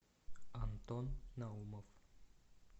антон наумов